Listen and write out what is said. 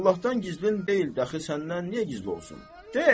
Allahdan gizlin deyil, dəxi səndən niyə gizli olsun?